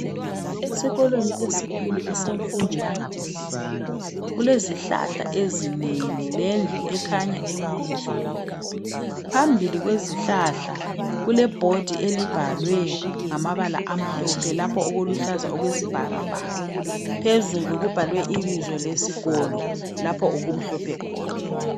Esikolweni esikhulu esemfundo yangaphezulu kulezihlahla ezinengi lendlu ekhanya emuva. Phambili kwezihlahla kulebhodi elibhalwe ngamabala amhlophe lapho okuluhlaza okwesibhakabhaka, phezulu kubhalwe ibizo lesikolo lapho okumhlophe khona.